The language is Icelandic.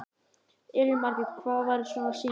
Elín Margrét: Og hvað varir svona sýning lengi?